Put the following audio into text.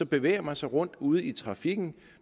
bevæger sig rundt ude i trafikken